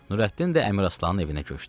Nürəddin də Əmiraslanın evinə köçdü.